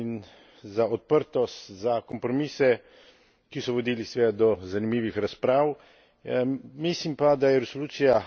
Predvsem za odlično sodelovanje in za odprtost, za kompromise, ki so vodili seveda do zanimivih razprav.